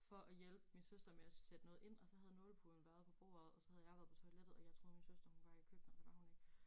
For at hjælpe min søster med at sætte noget ind og så havde nålepuden været på bordet og så havde jeg været på toilettet og jeg troede min søster hun var i køkkenet men det var hun ikke